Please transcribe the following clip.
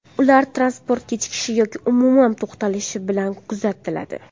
Ular transport kechikishi yoki umuman to‘xtatilishi bilan kuzatiladi.